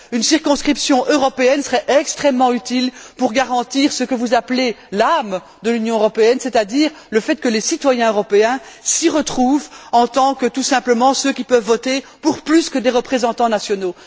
Une circonscription européenne serait extrêmement utile pour garantir ce que vous appelez l'âme de l'Union européenne, c'est à dire le fait que les citoyens européens s'y retrouvent en tant, tout simplement, que citoyens qui peuvent voter pour plus que des représentants nationaux.